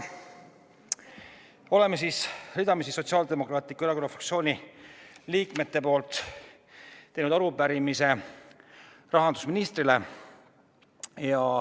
Me oleme Sotsiaaldemokraatliku Erakonna fraktsiooni hulga liikmete nimel teinud arupärimise rahandusministrile.